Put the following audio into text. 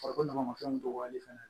Farikolo dama ma fɛnw dɔgɔyalen fana